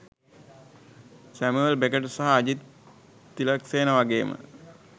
Samuel Beckett සහ අජිත් තිලකසේන වගේම